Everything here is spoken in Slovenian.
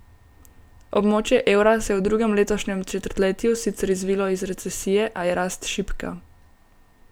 Območje evra se je v drugem letošnjem četrtletju sicer izvilo iz recesije, a je rast šibka.